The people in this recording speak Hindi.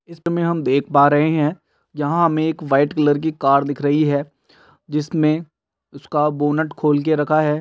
इसमें हम देख पा रहे हैं जहाॅं हमें एक व्हाइट कलर की कार दिख रही है। जिसमें उसका बोनट खोलकर रखा है।